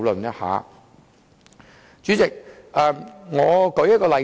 代理主席，讓我舉一個例子。